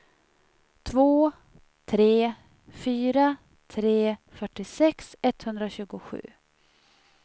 två tre fyra tre fyrtiosex etthundratjugosju